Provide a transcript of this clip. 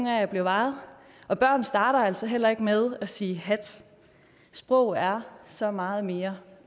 af at blive vejet og børn starter altså heller ikke med at sige hat sprog er så meget mere